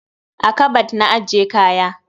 A kabad na ke ajje kaya.